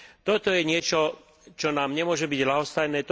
Toto je niečo, čo nám nemôže byť ľahostajné.